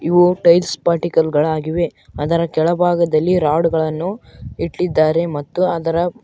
ಅವು tiles particle ಗಳಾಗಿವೆ ಅದರ ಕೆಳಭಾಗದಲ್ಲಿ ರಾಡ್ ಗಳನ್ನು ಇಟ್ಟಿದ್ದಾರೆ ಮತ್ತು ಅದರ --